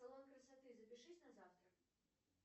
салон красоты запишись на завтра